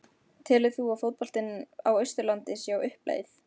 Telur þú að fótboltinn á Austurlandi sé á uppleið?